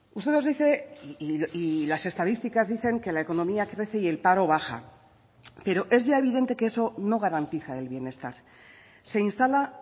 usted nos dice y las estadísticas dicen que la economía crece y el paro baja pero es ya evidente que eso no garantiza el bienestar se instala